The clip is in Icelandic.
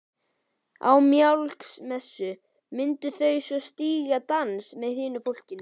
Á Mikjálsmessu myndu þau svo stíga dans með hinu fólkinu.